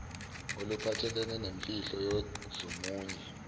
oluphathelene nezimfihlo zomunye